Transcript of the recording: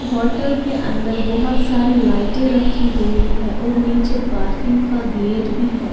Hotel के अंदर बहुत सारी लाइटें रखी हुई हैं और नीचे पार्किंग का गेट भी है।